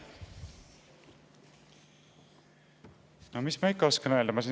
No mis ma ikka oskan öelda.